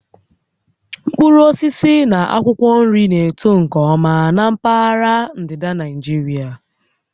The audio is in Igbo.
Mkpụrụ osisi na akwụkwọ nri na-eto nke ọma na mpaghara ndịda Naịjirịa